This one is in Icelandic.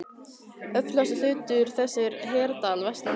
Öflugasti hluti þess er í Hveradal vestan við